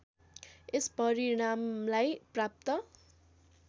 यस परिणामलाई प्राप्त